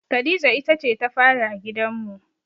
Khadija ita ce ta fari a gidanmu.